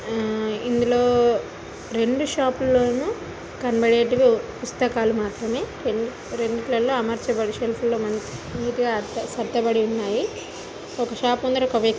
ఇందులో రెండు షాప్ లోను కనబాడేటుగా ఓ పుస్తకాలూ మాత్రమే రెండు రెండిటట్లో అమర్చబడి సెల్ఫ్ లో మనకి సత్తబడి ఉన్నాయి ఒక్క షాప్ ముందర ఒక్క వ్యక్తీ--